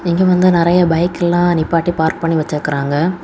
இங்க வந்து நிறைய பைக் எல்லாம் நிப்பாட்டி பார்க் பண்ணி வச்சிருக்காங்க.